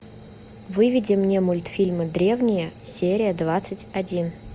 выведи мне мультфильмы древние серия двадцать один